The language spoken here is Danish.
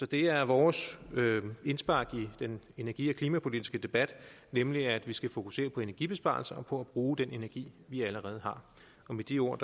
det er vores indspark i den energi og klimapolitiske debat nemlig at vi skal fokusere på energibesparelser og på at bruge den energi vi allerede har med de ord